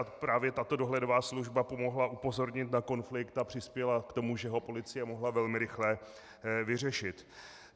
A právě tato dohledová služba pomohla upozornit na konflikt a přispěla k tomu, že ho policie mohla velmi rychle vyřešit.